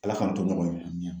Ala k'an to ɲɔgɔn ye